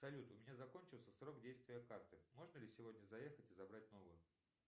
салют у меня закончился срок действия карты можно ли сегодня заехать и забрать новую